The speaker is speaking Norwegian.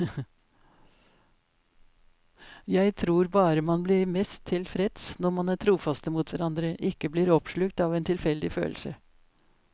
Jeg tror bare man blir mest tilfreds når man er trofaste mot hverandre, ikke blir oppslukt av en tilfeldig følelse.